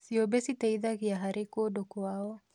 Ciũmbe citeithanagia harĩ kũndũ kwao.